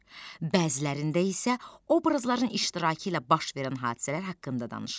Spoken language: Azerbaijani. Bəzilərində isə obrazların iştirakı ilə baş verən hadisələr haqqında danışılır.